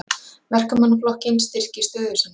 Verkamannaflokkinn styrkir stöðu sína